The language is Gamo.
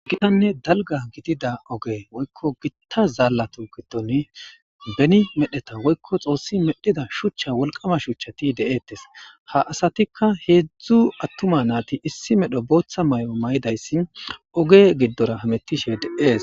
Gitanne dalgga gidida oge woykko gita zaallatu giddoni beni medheta woykko xoossi medhida shuchcha wolqama shuchchati de'etes ha asatikka heedzdzu attuma naati issi medho booththa mayo mayidayssi oge giddora hamettishe de'ees.